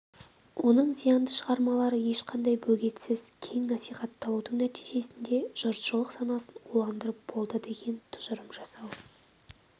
оның зиянды шығармалары ешқандай бөгетсіз кең насихатталудың нәтижесінде жұртшылық санасын уландырып болды деген тұжырым жасау